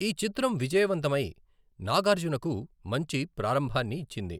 ఈ చిత్రం విజయవంతమై నాగార్జునకు మంచి ప్రారంభాన్ని ఇచ్చింది.